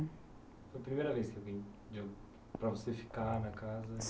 Foi a primeira vez que alguém deu para você ficar na casa?